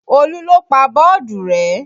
Olú ló pa bọ́ọ̀dù rẹ́